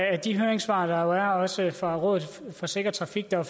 ad de høringssvar der er også fra rådet for sikker trafik der